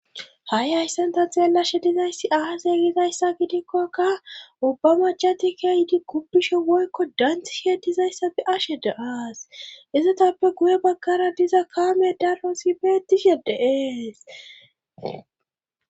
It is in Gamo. Ha7i hayssanta xeellashe dizayssi ahaseegizayssa gidikkokka ubba macatikeayiidi kuppisho woykko danthi she dizayssa fe ashe de7aas izotappe guye baggara diza kaame darhosi beetishe deees.